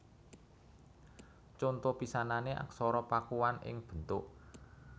Conto pisanané Aksara Pakuan ing bentuk